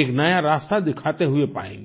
एक नया रास्ता दिखाते हुए पाएंगें